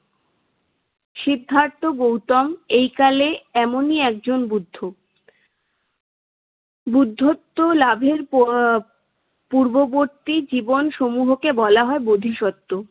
সিদ্ধার্থ গৌতম এইকালে এমনি একজন বুদ্ধ। বুদ্ধত্ব লাভের প~ পূর্ববর্তী জীবনসমূহকে বলা হয় বোধিসত্ত্ব।